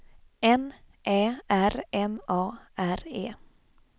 N Ä R M A R E